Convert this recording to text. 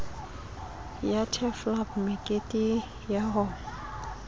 ya turfloop mekete ya ho